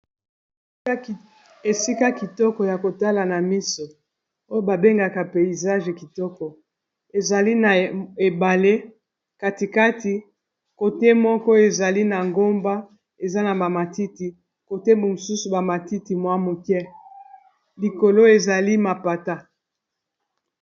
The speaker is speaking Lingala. Esika kitoko ya kotala na miso. oyo babengaka peyizage kitoko ezali na ebale katikati kote moko ezali na ngomba eza na ba matiti kote mosusu ba matiti mwa moke likolo ezali mapata.